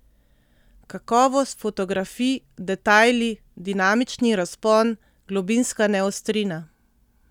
Kakovost fotografij, detajli, dinamični razpon, globinska neostrina.